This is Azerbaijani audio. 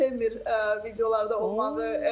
Artıq sevmir videolarda olmağı.